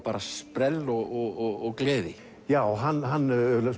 sprell og gleði já hann